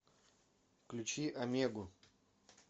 включи амегу